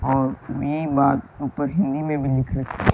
और ये बात ऊपर हिंदी में भी लिख र--